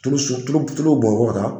tulu tulu bɔnyɔrɔ kan